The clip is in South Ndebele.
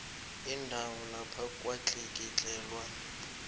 indawo lapho kwatlikitlelwa